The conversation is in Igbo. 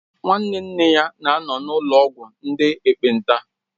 Nwa nwanne nne ya na-anọ na ụlọ ọgwụ ndị ekpenta